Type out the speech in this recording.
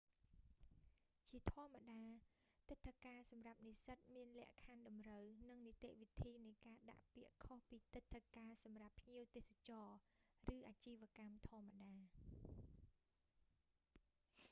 ជាធម្មតា ទិដ្ឋាការសម្រាប់និស្សិតមានលក្ខខណ្ឌតម្រូវ និងនីតិវិធីនៃការដាក់ពាក្យខុសពីទិដ្ឋាការសម្រាប់ភ្ញៀវទេសចរណ៍ ឬអាជីវកម្មធម្មតា